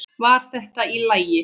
Væri þetta í lagi?